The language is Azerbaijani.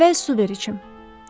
Əvvəl su ver içim.